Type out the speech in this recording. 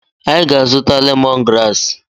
Anyị ga-azụta lemon graasị.